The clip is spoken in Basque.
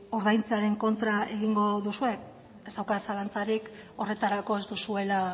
ordaintzearen kontra egingo duzue ez daukat zalantzarik horretarako ez duzuela